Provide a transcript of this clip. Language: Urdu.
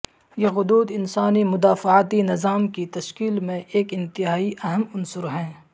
یہ غدود انسانی مدافعتی نظام کی تشکیل میں ایک انتہائی اہم عنصر ہیں